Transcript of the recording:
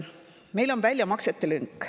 Meil on väljamaksete lünk.